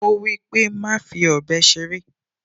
Ó wípé, "Má fi ọ̀bẹ ṣeré"